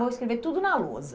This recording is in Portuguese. vou escrever tudo na lousa.